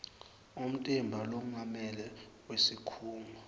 umtimba longamele wesikhungo